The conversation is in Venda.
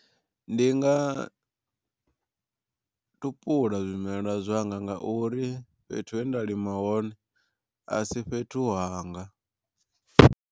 Ndi nga tupula zwimelwa zwanga nga uri fhethu he nda lima hone a si fhethu hanga.